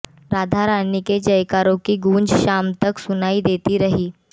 राधारानी के जयकारों की गूंज शाम तक सुनाई देती रही